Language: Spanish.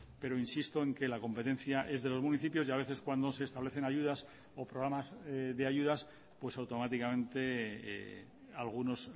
pero insisto en que la competencia es de los municipios y a veces cuando se establecen ayudas o programas de ayudas pues automáticamente algunos